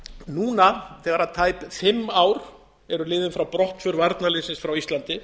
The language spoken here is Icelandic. núna þegar tæp fimm ár eru liðin frá brottför varnarliðsins frá íslandi